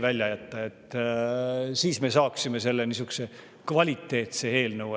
Siis me saaksime niisuguse kvaliteetse eelnõu.